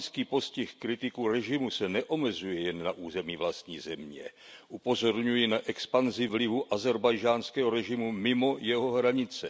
Postih kritiků režimu ze strany Baku se neomezuje jen na území vlastní země. Upozorňuji na expanzi vlivu ázerbajdžánského režimu mimo jeho hranice.